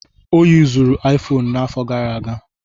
Ọ yuzuru Aifoonu n'afọ gara aga.